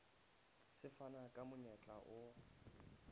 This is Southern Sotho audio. se fana ka monyetla o